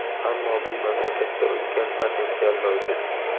Ammo bu mamlakatda ulkan potensial mavjud.